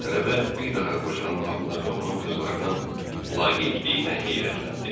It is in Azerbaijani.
Tələbə bir daha qocanın halına və onun qızlarının laqeydliyinə heyrətləndi.